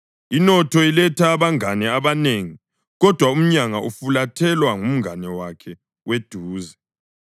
Inotho iletha abangane abanengi, kodwa umyanga ufulathelwa ngumngane wakhe weduze.